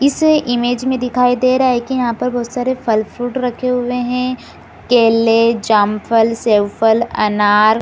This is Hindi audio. इस इमेज में दिखाई दे रहा है कि यहाँ पर बहुत सारे फल फ्रूट रखे हुए है केले जामफल सेवफलअनार --